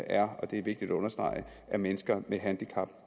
er og det er vigtigt at understrege at mennesker med handicap